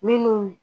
Minnu